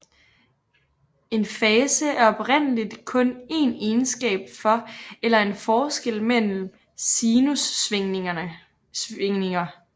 En fase er oprindeligt kun en egenskab for eller en forskel mellem sinussvingninger